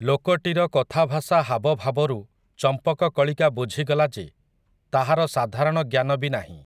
ଲୋକଟିର କଥାଭାଷା ହାବଭାବରୁ ଚମ୍ପକକଳିକା ବୁଝିଗଲା ଯେ, ତାହାର ସାଧାରଣ ଜ୍ଞାନ ବି ନାହିଁ ।